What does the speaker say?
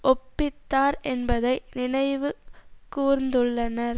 ஒப்பித்தார் என்பதை நினைவு கூர்ந்துள்ளனர்